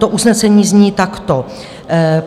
To usnesení zní takto: